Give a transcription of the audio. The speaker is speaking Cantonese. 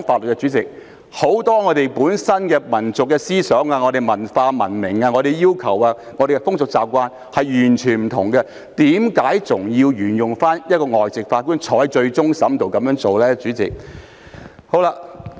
我們很多民族思想、文化、文明、要求和風俗習慣等，跟外國完全不同，為何還要沿用讓一名外籍法官參加終審庭審判的做法呢？